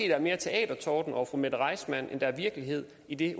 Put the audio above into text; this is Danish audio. er mere teatertorden over fru mette reissmann end der er virkelighed i det